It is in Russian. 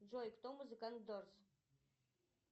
джой кто музыкант дорс